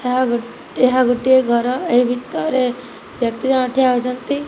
ଏହା ଗୋଟିଏ ଘର। ଏହି ଭିତରରେ କେତେ ଜଣ ଠିଆ ହୋଇଛନ୍ତି।